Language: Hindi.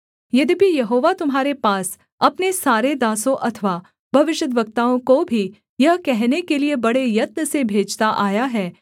यद्यपि यहोवा तुम्हारे पास अपने सारे दासों अथवा भविष्यद्वक्ताओं को भी यह कहने के लिये बड़े यत्न से भेजता आया है